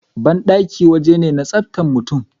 Bandaki waje ne na tsaftan mutum